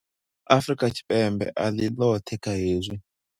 Afrika Tshipembe a ḽi ḽoṱhe kha hezwi.